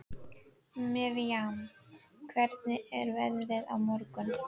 Miriam, hvernig er veðrið á morgun?